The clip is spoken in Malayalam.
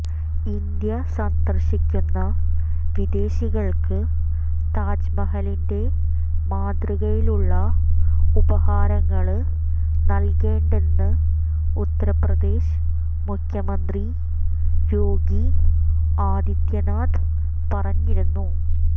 ഇന്ത്യ സന്ദര്ശിക്കുന്ന വിദേശികള്ക്ക് താജ്മഹലിന്റെ മാതൃകയിലുള്ള ഉപഹാരങ്ങള് നല്കേണ്ടെന്ന് ഉത്തര്പ്രദേശ് മുഖ്യമന്ത്രി യോഗി ആദിത്യനാഥ് പറഞ്ഞിരുന്നു